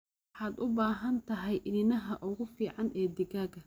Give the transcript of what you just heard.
Waxaad u baahan tahay iniinaha ugu fiican ee digaagga.